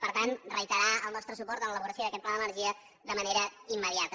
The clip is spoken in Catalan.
per tant reiterar el nostre suport en l’elaboració d’aquest pla de l’energia de manera immediata